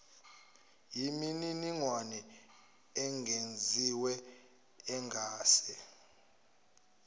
yimininingwane engeziwe engase